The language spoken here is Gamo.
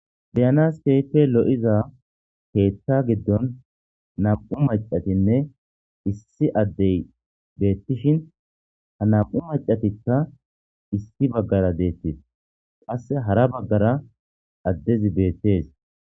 Beyanas teyfe lo'iza keethta giddon nam'u macatinne issi addey beettishin ha nam'u macatikka issi baggara deettis qasse hara baggara addezi beettees.